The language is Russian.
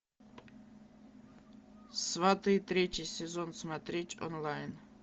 сваты третий сезон смотреть онлайн